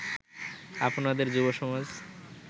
আপনাদের যুবসমাজ